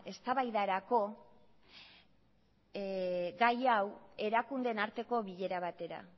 eztabaidarako gai hau erakundeen arteko bilera batera